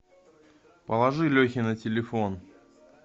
положи лехе на телефон